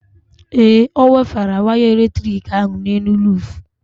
Ee, ọ wefere waya eletrik ahụ n'elu ruufu.